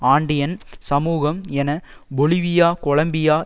ஆண்டியன் சமூகம் என Bolivia Colombia